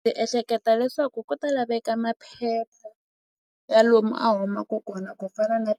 Ndzi ehleketa leswaku ku ta laveka maphepha ya lomu a humaku kona ku fana na